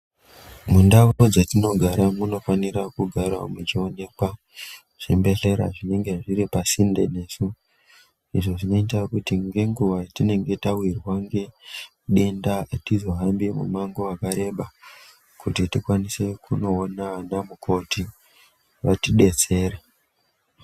Mundau dzatinogara munofanirwa kugara muchionekwa zvibhedhlera zvinenge zviripasinde nesu izvo zvinoita kuti nenguva yatinenge tawirwa denda atizohambi Durango wakareba kuti tikwanise kunoona vanamukoti vatibetsere .